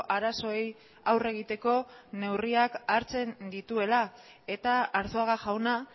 arazoei aurre egiteko neurriak hartzen dituela eta arzuaga jauna